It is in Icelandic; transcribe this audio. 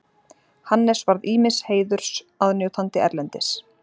Hannes varð ýmiss heiðurs aðnjótandi erlendis.